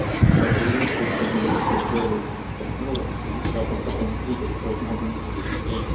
под лучше чем твой первый секс партнёры все девчата в таком трипе что мама не горюй